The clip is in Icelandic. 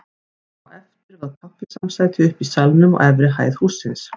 Á eftir var kaffisamsæti uppi í salnum á efri hæð hússins.